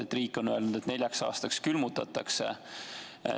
Riik on öelnud, et neljaks aastaks külmutatakse.